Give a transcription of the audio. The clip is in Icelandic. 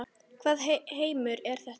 Hvaða heimur er þetta?